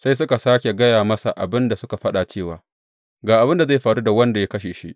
Sai suka sāke gaya masa abin da suka faɗa cewa, Ga abin da zai faru da wanda ya kashe shi.